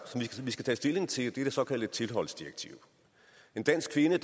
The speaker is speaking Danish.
som vi skal tage stilling til det såkaldte tilholdsdirektiv en dansk kvinde